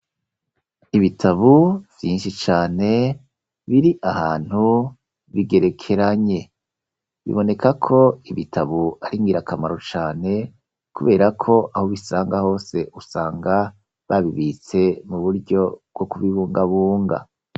Ibitabu vyinshi cane, biri ahantu bigerekeranye; biboneka ko ibitabu ari ngirakamaro cane, kubera ko, aho ubisanga hose, usanga babibitse mu buryo bwo kubibungabunga.